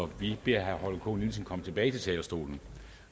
vi beder herre holger k nielsen komme tilbage til talerstolen